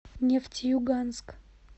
нефтеюганск